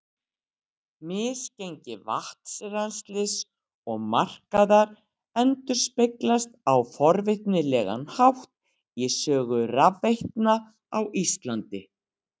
misgengi vatnsrennslis og markaðar endurspeglast á forvitnilegan hátt í sögu rafveitna á íslandi